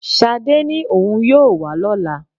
Ṣadé ní òun yóò wá lọ́lá